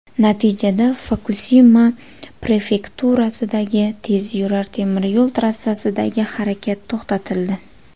Natijada Fukusima prefekturasidagi tezyurar temir yo‘l trassasidagi harakat to‘xtatildi.